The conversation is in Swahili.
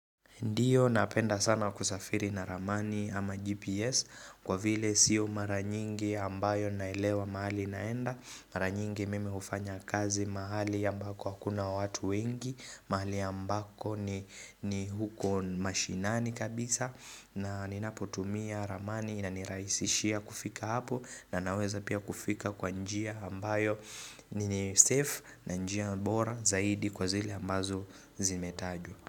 Ndio napenda sana kusafiri na ramani ama GPS kwa vile sio mara nyingi ambayo naelewa mahali naenda, Mara nyingi mimi hufanya kazi mahali ambako hakuna watu wengi, mahali ambako ni huko mashinani kabisa na ninapotumia ramani inanirahisishia kufika hapo na naweza pia kufika kwa njia ambayo ni safe na njia bora zaidi kwa zile ambazo zimetajwa.